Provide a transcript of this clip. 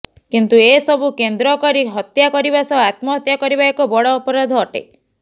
କିନ୍ତୁ ଏସବୁ କେନ୍ଦ୍ର କରି ହତ୍ୟା କରିବା ସହ ଆତ୍ମହତ୍ୟା କରିବା ଏକ ବଡ ଅପରାଧ ଅଟେ